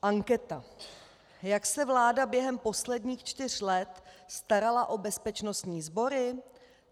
Anketa: Jak se vláda během posledních čtyř let starala o bezpečnostní sbory?